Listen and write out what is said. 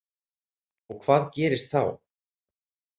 Og hvað gerðist þá?